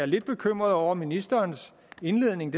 lidt bekymret over ministerens indledning